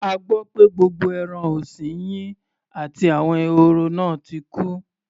A gbọ́ pé gbogbo ẹran ọ̀sin yín àti àwọn ehoro náà ti kú.